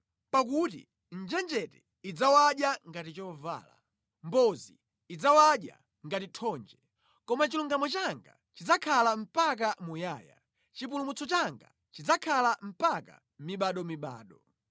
Pakuti njenjete idzawadya ngati chovala; mbozi idzawadya ngati thonje. Koma chilungamo changa chidzakhala mpaka muyaya, chipulumutso changa chidzakhala mpaka mibadomibado.”